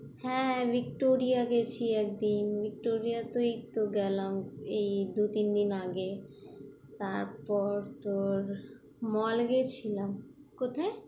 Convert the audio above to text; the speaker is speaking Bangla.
হ্যাঁ, হ্যাঁ ভিক্টোরিয়া গেছি একদিন, ভিক্টোরিয়া এইতো গেলাম, এই দু তিন দিন আগে তারপর তোর mall গেছিলাম। কোথায়?